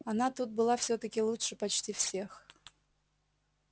она тут была всё-таки лучше почти всех